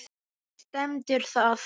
Þar stendur það.